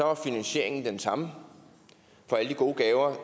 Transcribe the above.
var finansieringen den samme for alle de gode gaver